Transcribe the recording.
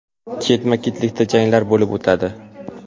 Ketma-ketlikda janglar bo‘lib o‘tadi.